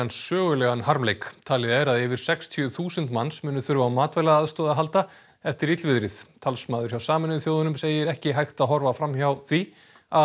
sögulegan harmleik talið er að yfir sextíu þúsund manns muni þurfa á matvælaaðstoð að halda eftir illviðrið talsmaður hjá Sameinuðu þjóðunum segir ekki hægt að horfa fram hjá því að